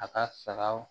A ka sagaw